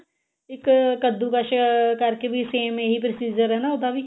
ਇੱਕ ਕਦੁਕਸ ਕਰਕੇ ਵੀ same ਇਹੀ processor ਆ ਨਾ ਉਹਦਾ ਵੀ